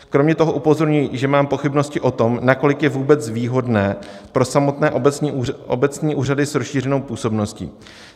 Kromě toho upozorňuji, že mám pochybnosti o tom, nakolik je vůbec výhodné pro samotné obecní úřady s rozšířenou působností.